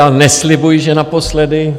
Já neslibuji, že naposledy.